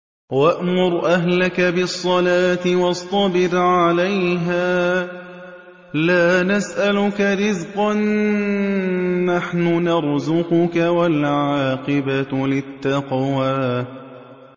وَأْمُرْ أَهْلَكَ بِالصَّلَاةِ وَاصْطَبِرْ عَلَيْهَا ۖ لَا نَسْأَلُكَ رِزْقًا ۖ نَّحْنُ نَرْزُقُكَ ۗ وَالْعَاقِبَةُ لِلتَّقْوَىٰ